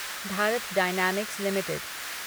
Bharat Dynamics limited